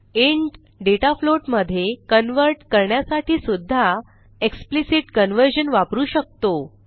int data float मधे convert करण्यासाठी सुध्दा एक्सप्लिसिट कन्व्हर्जन वापरू शकतो